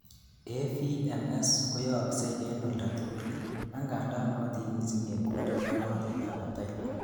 AVMS koyooksei en oldatugul, angandan nootin missing en kundit ak rotet ab batai